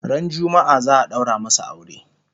ran jumma'a zaa daura masu aure